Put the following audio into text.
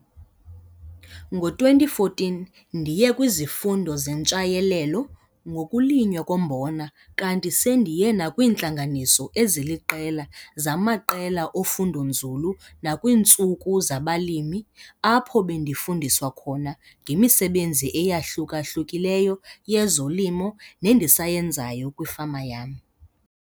Ngo-2014 ndiye kwizifundo zeNtshayelelo ngokuLinywa koMbona kanti sendiye nakwiintlanganiso eziIiqela zamaqela ofundonzulu nakwiintsuku zabalimi apho bendifundiswa khona ngemisebenzi eyahluka-hlukileyo yezolimo nendisayenzayo kwifama yam.